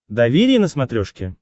доверие на смотрешке